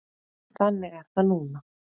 Þannig er það núna.